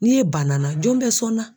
Ni e banna n na jɔn bɛ sɔn n na?